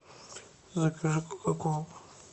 закажи кока колу